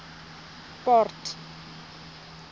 port